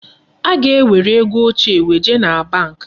Ị ga-ewere ego ochie weje na bank.